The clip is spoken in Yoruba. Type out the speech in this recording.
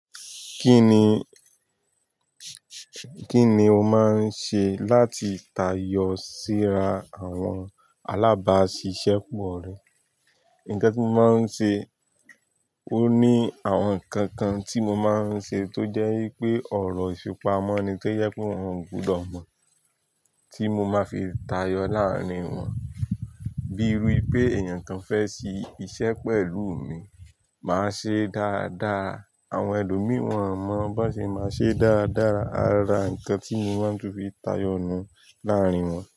Kí ni, kí ni o máa ń ṣe láti tayọ síra àwọn alábàáṣiṣẹ́ pọ̀ rẹ? Nǹkan tí mo máa ń ṣe, ó ní àwọn nǹkan kan tí mo máa ń ṣe tó jẹ́ wípé ọ̀rọ̀ ìfipamọ́ ni tó yẹ kó wọn gbọdọ̀ mọ̀, tí mo máa fi tayọ láàárín wọn. Bíi iru i pé èeyàn kan fẹ́ ṣe iṣẹ́ pẹ̀lú mi, màá ṣe dáadáa. Àwọn ẹlòmíì wọn mọ̀ bó ṣe máa ṣe dáadáa, ara nǹkan tí mo máa ń tún fi tayọ̀ nù láàárín wọn.